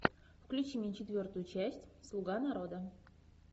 включи мне четвертую часть слуга народа